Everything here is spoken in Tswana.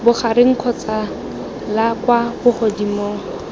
bogareng kgotsa la kwa bogodimong